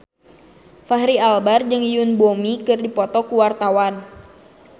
Fachri Albar jeung Yoon Bomi keur dipoto ku wartawan